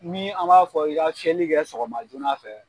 Nii an b'a fɔ i ka fiyɛli kɛ sɔgɔma joona fɛ